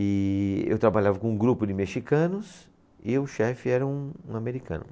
E eu trabalhava com um grupo de mexicanos e o chefe era um um americano.